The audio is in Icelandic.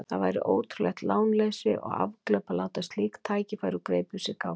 Það væri ótrúlegt lánleysi og afglöp að láta slík tækifæri úr greipum sér ganga.